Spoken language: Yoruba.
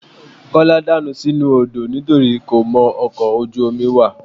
Kọ́lá dànù sínú odó nitorí kò mọkọ̀ ojú omi wà